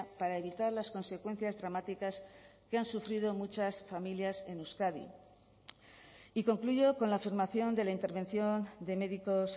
para evitar las consecuencias dramáticas que han sufrido muchas familias en euskadi y concluyo con la afirmación de la intervención de médicos